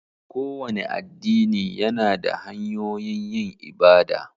Kowane addini yana da hanyoyin yin ibada.